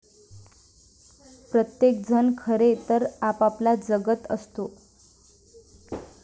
प्रत्येक जण खरे तर आपापला जगत असतो.